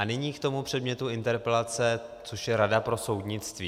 A nyní k tomu předmětu interpelace, což je rada pro soudnictví.